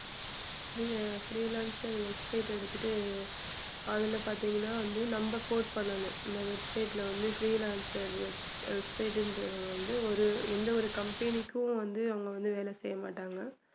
freelancer website எடுத்துட்டு அதுல பாத்தீங்கன்னா வந்து நம்ம code பண்ணணும் இந்த website ல வந்து freelancer website ன்றது வந்து ஒரு எந்த ஒரு company க்கும் வந்து அவங்க வந்து வேலை செய்ய மாட்டாங்க